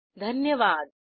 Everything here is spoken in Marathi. सहभागासाठी धन्यवाद